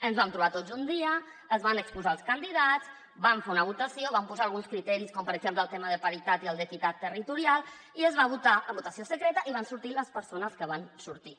ens vam trobar tots un dia es van exposar els candidats vam fer una votació vam posar alguns criteris com per exemple el tema de paritat i el d’equitat territorial i es va votar en votació secreta i van sortir les persones que van sortir